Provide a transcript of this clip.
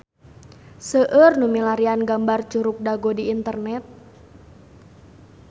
Seueur nu milarian gambar Curug Dago di internet